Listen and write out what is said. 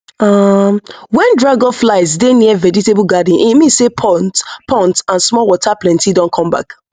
um when dragonflies dey near vegetable garden e mean say ponds ponds and small water plenty don come back